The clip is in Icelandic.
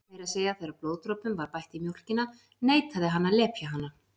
Meira að segja þegar blóðdropum var bætt í mjólkina neitaði hann að lepja hana.